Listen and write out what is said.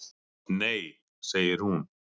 Nei, segir hún.